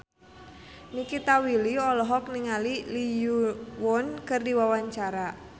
Nikita Willy olohok ningali Lee Yo Won keur diwawancara